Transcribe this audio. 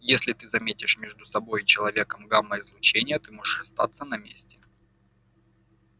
если ты заметишь между собой и человеком гамма-излучение ты можешь остаться на месте